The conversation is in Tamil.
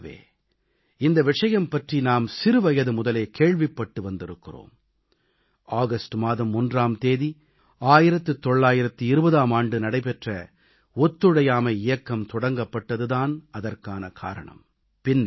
இயல்பாகவே இந்த விஷயம் பற்றி நாம் சிறுவயது முதலே கேள்விப்பட்டு வந்திருக்கிறோம் ஆகஸ்ட் மாதம் ஒன்றாம் தேதி 1920ஆம் ஆண்டு நடைபெற்ற ஒத்துழையாமை இயக்கம் தொடங்கப்பட்டது தான் அதற்கான காரணம்